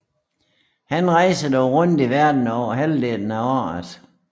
Han rejser dog rundt i verden over halvdelen af året